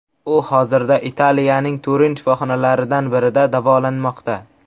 U hozirda Italiyaning Turin shifoxonalaridan birida davolanmoqda.